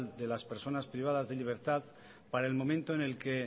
de las personas privadas de libertad para el momento en el que